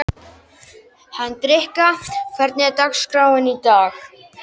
Hendrikka, hvernig er dagskráin í dag?